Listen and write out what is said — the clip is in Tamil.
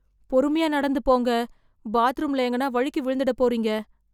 பொறுமையா நடந்து போங்க, பாத்ரூமில் எங்கனா வழுக்கி விழுந்திட போறீங்க